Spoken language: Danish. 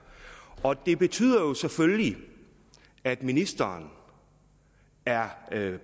og det er betyder jo selvfølgelig at ministeren er